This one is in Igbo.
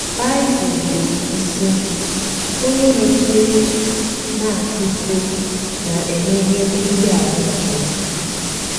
Bible na - ekwu, sị: “ Onye nọgidere na - akwa iko na - emehie megide ahụ́ nke ya. ”